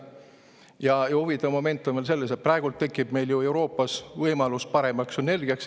Ja huvitav moment on veel selles, et praegu tekib meil ju Euroopas võimalus paremaks sünergiaks.